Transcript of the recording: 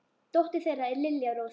Dóttir þeirra er Lilja Rós.